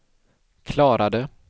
klarade